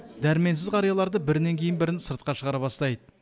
дәрменсіз қарияларды бірінен кейін бірін сыртқа шығара бастайды